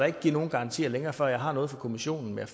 ikke give nogen garantier længere før jeg har noget fra kommissionen men